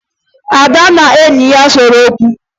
Ada na enyi ya sere okwu